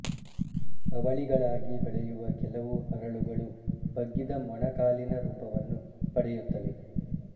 ಅವಳಿಗಳಾಗಿ ಬೆಳೆಯುವ ಕೆಲವು ಹರಳುಗಳು ಬಗ್ಗಿದ ಮೊಣಕಾಲಿನ ರೂಪವನ್ನು ಪಡೆಯುತ್ತವೆ